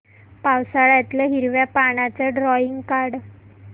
पावसाळ्यातलं हिरव्या पानाचं ड्रॉइंग काढ